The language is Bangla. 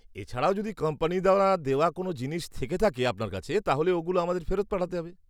এছাড়াও যদি কোম্পানি দ্বারা দেওয়া কোন জিনিস থেকে থাকে আপনার কাছে তাহলে ওগুলো আমাদের ফেরত পাঠাতে হবে।